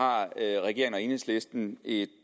har regeringen og enhedslisten et